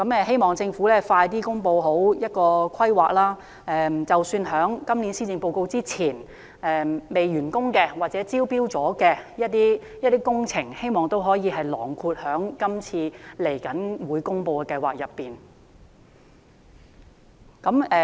希望政府盡快公布計劃詳情，並希望即使在今年施政報告公布前尚未完工或已招標的工程，也可以納入在今次的計劃當中。